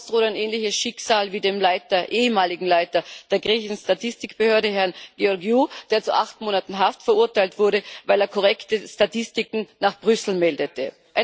Sonst droht ein ähnliches Schicksal wie das des ehemaligen Leiters der griechischen Statistikbehörde, Herrn Georgiou, der zu acht Monaten Haft verurteilt wurde, weil er korrekte Statistiken nach Brüssel meldete.